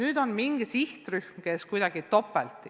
Kas on mingi sihtrühm, kes on kuidagi topelt?